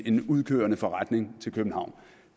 en udkørende forretning til københavn